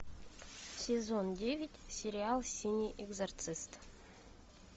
сезон девять сериал синий экзорцист